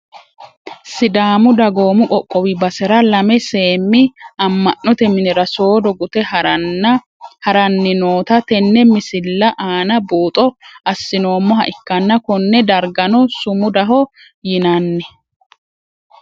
Sidaamu dagoomu qoqowu basera lame seemi ama`note minira soodo gute harani noota tenne misila aana buuxo asinoomoha ikkana kone dargano sumudaho yinani.